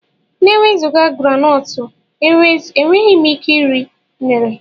na-enweghị granotu, enweghị m ike iri unere